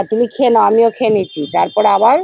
আর তুমি খেয়ে নেও আমিও খেয়ে নিচ্ছি তারপরে আবার